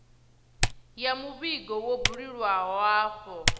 ya muvhigo wo buliwaho afho